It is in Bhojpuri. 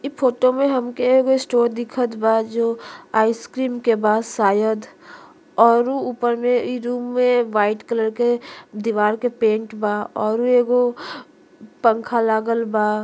इ फोटो मे हमके एगो स्टोर दिखत बा जो आइसक्रीम के पास शायद अउरो ऊपर मे इ रूम मे वाइट कलर के दीवार के पेंट बा। अउरो एगो पंखा लागल बा।